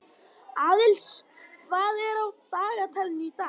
Aðils, hvað er á dagatalinu í dag?